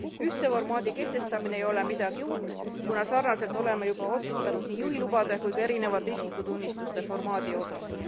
Ühtse formaadi kehtestamine ei ole midagi uut, kuna sarnaselt oleme juba otsustanud nii juhilubade kui ka erinevate isikutunnistuste formaadi osas.